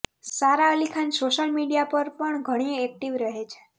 સારા Ali Khan social media પર પણ ઘણી એક્ટિવ રહે છે